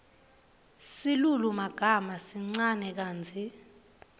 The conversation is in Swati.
silulumagama sincane kantsi